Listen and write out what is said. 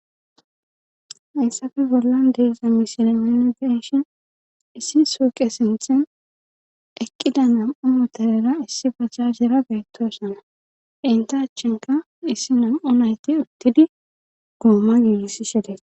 hayssafe bollan deesa misiremeene deshin issi suuqe sinthen eqqida nam7u moteera issi bajjajera geettosana inta achchinka issi nam7u nayti uttidi gooma yiigisi shedees